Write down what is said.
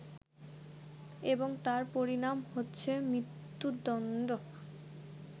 এবং তার পরিণাম হচ্ছে মৃত্যুদণ্ড